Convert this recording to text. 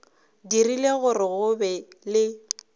dirile gore go be le